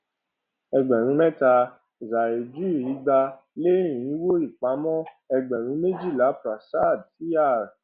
ẹgbẹrún mẹta zahirdr ẹgbàá lé irínwó ìpamọ ẹgbẹrún méjìlá prasad cr